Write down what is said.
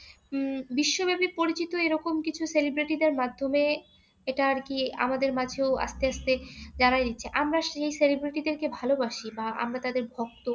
উম বিশ্বব্যাপী পরিচিত এরকম কিছু celebrity দের মাধ্যমে এটা আরকি আমাদের মাঝেও আস্তে আস্তে জানাইয়া দিচ্ছে। আমরা সেই celebrity দেরকে ভালোবাসি বা তাদের ভক্ত।